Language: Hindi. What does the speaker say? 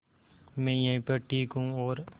मैं यहीं पर ठीक हूँ और